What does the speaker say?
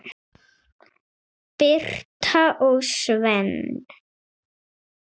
Birta og Sveinn.